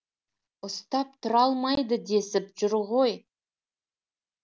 ұстап тұра алмайды десіп жүр ғой